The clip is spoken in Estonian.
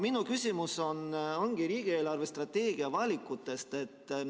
Minu küsimus ongi riigi eelarvestrateegia valikute kohta.